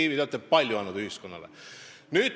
Ivi, te olete ühiskonnale palju andnud.